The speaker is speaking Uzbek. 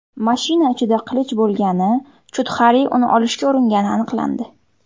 Mashina ichida qilich bo‘lgani, Chudxari uni olishga uringani aniqlandi.